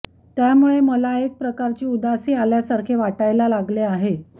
त्यामुळे मला एक प्रकारची उदासी आल्या सारखे वाटायला लागले आहे